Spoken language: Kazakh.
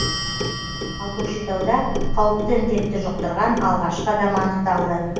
ал көкшетауда қауіпті індетті жұқтырған алғашқы адам анықталды